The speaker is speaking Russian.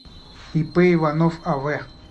ип иванов ав